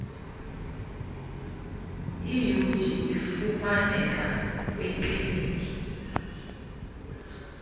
iud ifumaneka kwiikliniki